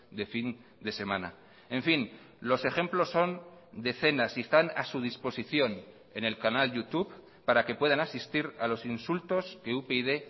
de fin de semana en fin los ejemplos son decenas y están a su disposición en el canal youtube para que puedan asistir a los insultos que upyd